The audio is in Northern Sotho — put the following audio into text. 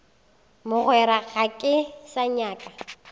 mogwera ga ke sa nyaka